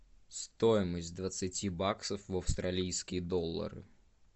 стоимость двадцати баксов в австралийские доллары